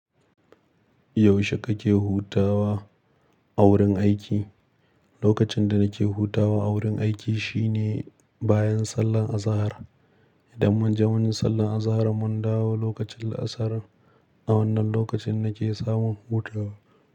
Yaushe kake hutawa a wurin aiki? Lokacin da nake hutawa a wurin aiki shine bayan sallar azahar. Idan mun je mun yi sallar azahar mun dawo lokacin la'asar. A wannan lokacin nake samun hutawa.